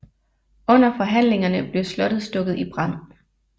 Under forhandlingerne blev slottet stukket i brand